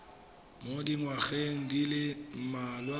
mo dingwageng di le mmalwa